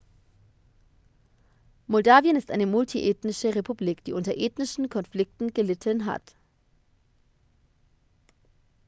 moldawien ist eine multiethnische republik die unter ethnischen konflikte gelitten hat